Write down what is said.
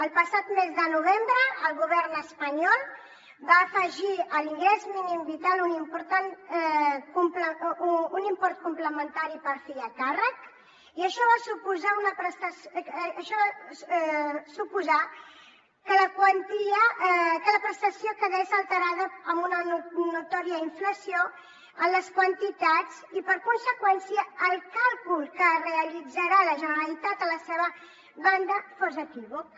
el passat mes de novembre el govern espanyol va afegir a l’ingrés mínim vital un import complementari per fill a càrrec i això va suposar que la prestació quedés alterada amb una notòria inflació en les quantitats i per conseqüència el càlcul que va realitzar la generalitat a la seva banda fos equívoc